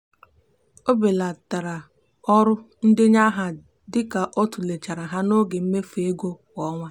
o belatara ọrụ ndenye aha dị ka ọ tụlechara ha n'oge mmefu ego kwa ọnwa.